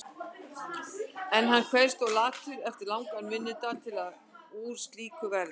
En hann kveðst of latur eftir langan vinnudag til að úr slíku verði.